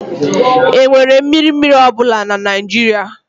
Enwere mmiri mmiri ọ bụla na Nigeria?